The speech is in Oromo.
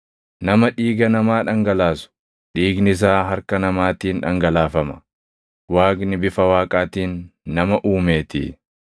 “Nama dhiiga namaa dhangalaasu, dhiigni isaa harka namaatiin dhangalaafama; Waaqni bifa Waaqaatiin nama uumeetii.